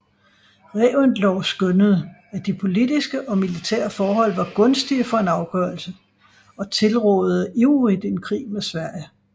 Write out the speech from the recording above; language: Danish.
Reventlow skønnede at de politiske og militære forhold var gunstige for en afgørelse og tilrådede ivrigt en krig med Sverige